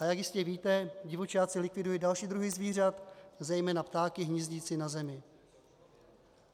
A jak jistě víte, divočáci likvidují další druhy zvířat, zejména ptáky hnízdící na zemi.